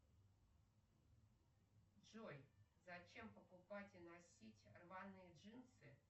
джой зачем покупать и носить рваные джинсы